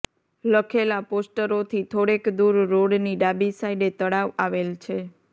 લખેલા પોસ્ટરોથી થોડેક દૂર રોડની ડાબી સાઇડે તળાવ આવેલ છે